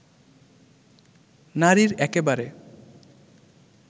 নারীর একেবারে